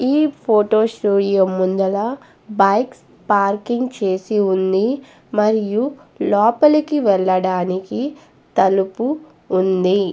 ఈ photo studio ముందల bikes parking చేసి ఉంది మరియు లోపలికి వెళ్ళడానికి తలుపు ఉంది.